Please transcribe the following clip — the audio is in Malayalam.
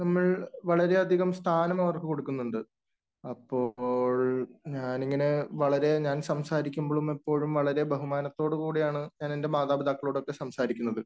നമ്മൾ വളരെയധിയകം സ്ഥാനം അവർക്കു കൊടുക്കുന്നുണ്ട്. അപ്പോൾ ഞാനിങ്ങനെ വളരെ ഞാൻ സംസാരിക്കുമ്പോളും എപ്പോഴും വളരെ ബഹുമാനത്തോടു കൂടിയാണ് ഞാനെൻ്റെ മാതാപിതാക്കളോടൊക്കെ സംസാരിക്കുന്നത്.